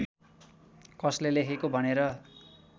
कसले लेखेको भनेर